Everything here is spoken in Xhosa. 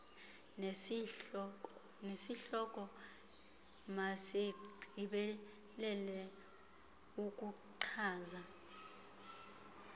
nesihloko masigqibelele ukuchaza